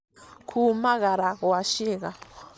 kũũmagara kwa ciĩga